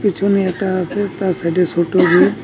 পিছনে একটা আসে তার সাইডে সোটো রুম ।